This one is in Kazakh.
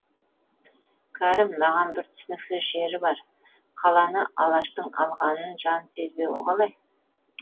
кәрім маған бір түсініксіз жері бар қаланы алаштың алғанын жан сезбеуі қалай